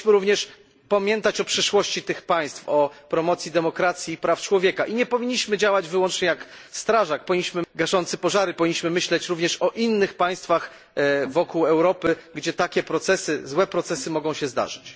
Powinniśmy również pamiętać o przyszłości tych państw, o promocji demokracji i praw człowieka i nie powinniśmy działać jedynie jak strażak gaszący pożary, powinniśmy myśleć również o innych państwach wokół Europy, gdzie takie procesy złe procesy mogą się zdarzyć.